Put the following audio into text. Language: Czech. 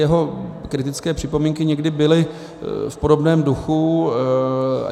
Jeho kritické připomínky někdy byly v podobném duchu.